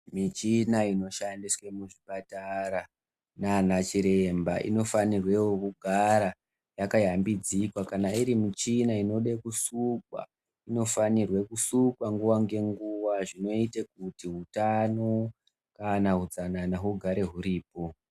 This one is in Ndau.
Michina inoshandiswe muzvipatara naanachiremba inofanirwewo kugara yakayambidzika kana irimuchina inoda kusukwa inofanirwe kusukwa nguwa ngenguwa zvinoite kuti hutano kana hutsanana hugare huripo.